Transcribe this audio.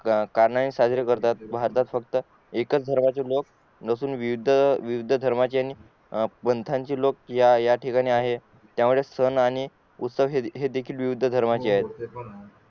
का नाही साजरे करतात भारतात फक्त एकच धर्माचे लोग नसून विविध धर्माचे आणि लोक या ठिकाणी आहेत त्यामुळे सण आणि उत्सव हे देखील विविध धर्माचे आहे